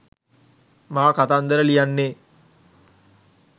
මා කතන්දර ලියන්නේ